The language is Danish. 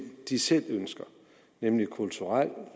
de selv ønsker nemlig kulturel